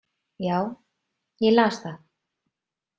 Já, ég las það.